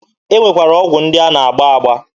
E nwekwara ọgwụ ndị a na-agba agba.